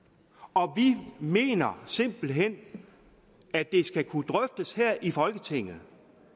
og vi mener simpelt hen at det skal kunne drøftes her i folketinget